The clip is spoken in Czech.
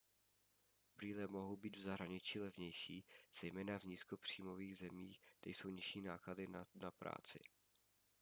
brýle mohou být v zahraničí levnější zejména v nízkopříjmových zemích kde jsou nižší náklady na na práci